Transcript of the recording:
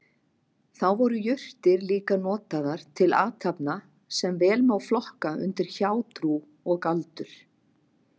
Þá voru jurtir líka notaðar til athafna sem vel má flokka undir hjátrú og galdur.